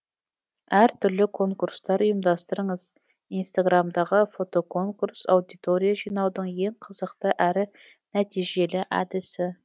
әртүрлі конкурстар ұйымдастырыңыз инстаграмдағы фотоконурс аудитория жинаудың ең қызықты әрі нәтижелі әдісі